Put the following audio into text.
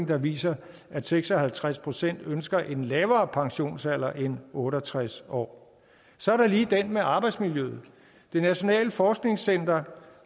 der viser at seks og halvtreds procent ønsker en lavere pensionsalder end otte og tres år så er der lige den med arbejdsmiljøet det nationale forskningscenter